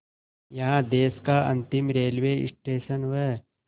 यहाँ देश का अंतिम रेलवे स्टेशन व